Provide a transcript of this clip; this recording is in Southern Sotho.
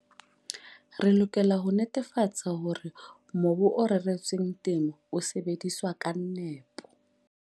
Re lokela ho netefatsa hore mobu o reretsweng temo o sebediswa ka nepo.